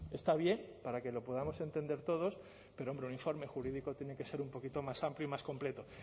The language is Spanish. está bien para que lo podamos entender todos pero hombre un informe jurídico tiene que ser un poquito más amplio y más completo